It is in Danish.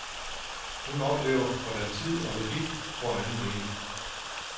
Hun oplever, hvordan tid og logik får en anden mening.